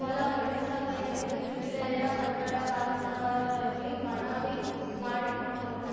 ಬಲಪಡಿಸಬೇಕೆಂದು ಜಿಲ್ಲೆಯ ಕಟ್ಟಡ ಕಾರ್ಮಿಕರಲ್ಲಿ ಮನವಿ ಮಾಡಿಕೊಂಡರು